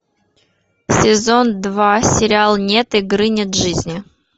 сезон два сериал нет игры нет жизни